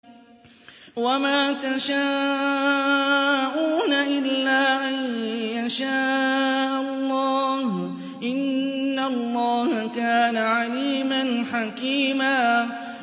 وَمَا تَشَاءُونَ إِلَّا أَن يَشَاءَ اللَّهُ ۚ إِنَّ اللَّهَ كَانَ عَلِيمًا حَكِيمًا